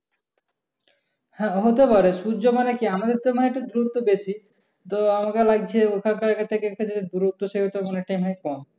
হ্যাঁ হতে পারে সূর্য মানে কি আমাদের তো একটু দূরত্ব বেশি। তো আমাদের লাগছে ওখান কার এখান থেকে দূরত্ব তেমন একটা মনে হয় কম।